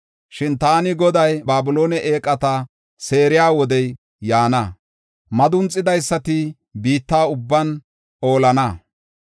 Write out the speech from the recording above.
Shin “Taani Goday Babiloone eeqata seeriya wodey yaana. Madunxidaysati biitta ubban oolana.